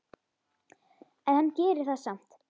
En hann gerir það samt.